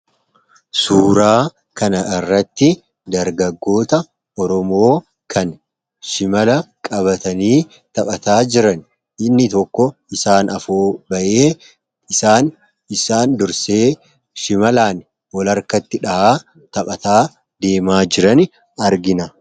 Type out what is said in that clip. suuraa kana irratti dargagoota oromoo kan shimala qabatanii taphataa jiran inni tokko isaan afu bayee isaan isaan dursee shimalaan ol arkatti dha'a taphataa diemaa jiran argina